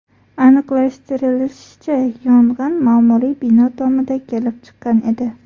Aniqlashtirilishicha, yong‘in ma’muriy bino tomida kelib chiqqan edi.